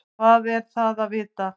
Hvað er það að vita?